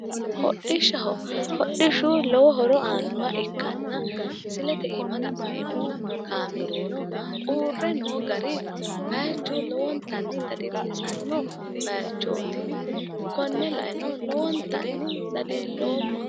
Hodhishshaho. Hodhishshu lowo horo aannoha ikkanna misilete iima la'neemmo kaameelino uurre noo gari bayichu lowontanni dadillisanno bayichooti. Konne laeno lowontanni dadilloomma.